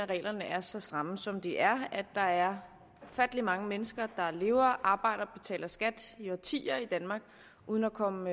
reglerne er så stramme som de er der er ufattelig mange mennesker der lever arbejder og betaler skat i årtier i danmark uden at komme